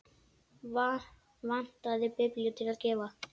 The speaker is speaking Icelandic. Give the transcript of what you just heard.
Vantaði biblíu til að gefa.